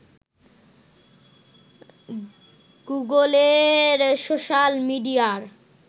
গুগলের সোশাল মিডিয়ার